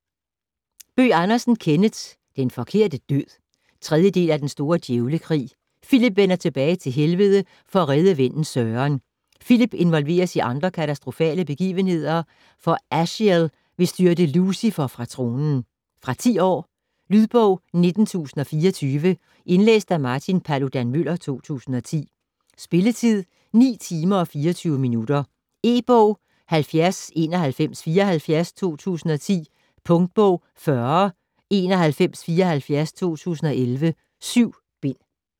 Bøgh Andersen, Kenneth: Den forkerte død 3. del af Den store djævlekrig. Filip vender tilbage til Helvede for at redde vennen Søren. Filip involveres i andre katastrofale begivenheder, for Aziel vil styrte Lucifer fra tronen. Fra 10 år. Lydbog 19024 Indlæst af Martin Paludan-Müller, 2010. Spilletid: 9 timer, 24 minutter. E-bog 709174 2010. Punktbog 409174 2011. 7 bind.